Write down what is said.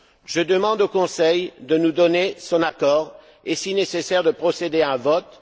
Je demande au Conseil de nous donner son accord et, si nécessaire, de procéder à un vote.